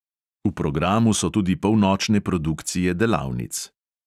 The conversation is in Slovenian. V programu so tudi polnočne produkcije delavnic.